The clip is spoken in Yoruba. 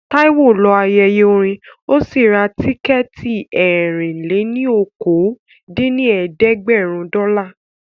Táíwò lọ ayẹyẹ orin ó sì ra tíkẹ̀ẹ̀tì ẹ̀rin-lé-ní-okòó dín ní ẹ̀ẹ́dẹ́gbẹ́rún dọ́là